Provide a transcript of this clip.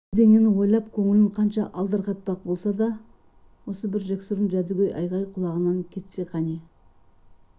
басқа бірдеңені ойлап көңілін қанша алдарқатпақ болса да осы бір жексұрын жәдігөй айғай құлағынан кетсе қане